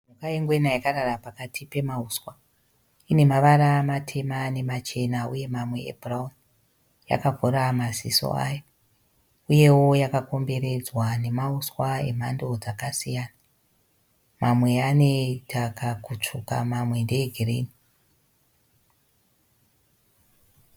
Pane ngwena yakarara pakati pemahuswa. Ine mavara matema nemachena uye mamwe e bhurauni , yakavhura maziso ayo. Uyewo yakakomberedzwa nemauswa e mhando dzakasiyana. Mamwe anoita kakutsvuka mamwe ndee girinhi.